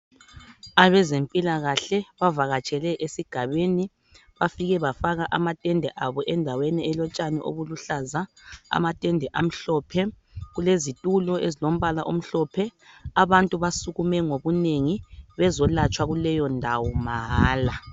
Abezempilakahle bavakatshele esigabeni, bafike bafaka amatende abo endaweni elotshani obuluhlaza, amatende amhlophe. Kulezitulo ezilombala omhlophe. Abantu basukume ngobunengi bezolatshwa kuleyo ndawo mahala.